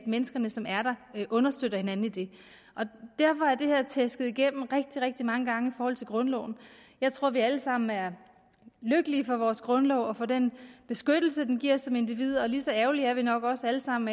mennesker som er der understøtter hinanden i det derfor er det her tæsket igennem rigtig rigtig mange gange i forhold til grundloven jeg tror at vi alle sammen er lykkelige for vores grundlov og for den beskyttelse den giver os som individer og lige så ærgerlige er vi nok os alle sammen